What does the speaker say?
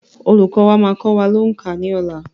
Olùkọ́ wa máa kọ wá òǹkà ní ọ̀la.